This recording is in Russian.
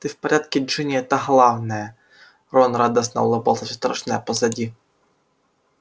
ты в порядке джинни это главное рон радостно улыбался всё страшное позади